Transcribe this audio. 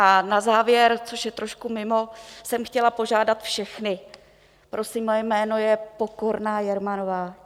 A na závěr, což je trošku mimo, jsem chtěla požádat všechny: prosím, moje jméno je Pokorná Jermanová.